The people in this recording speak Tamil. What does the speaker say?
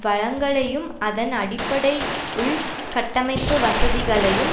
வளங்களையும் அதன் அடிப்படை உள் கட்டமைப்பு வசதிகளையும்